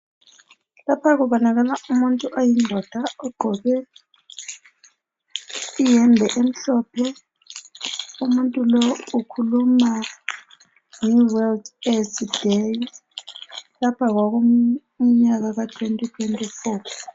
Lapha kubonakala umuntu oyindoda ogqoke iyembe emhlophe. Umuntu lo ukhuluma nge "world AIDS day".Lapha kwakukumnyaka ka 2024.